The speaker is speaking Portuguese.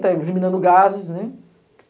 Tá eliminando gases, né?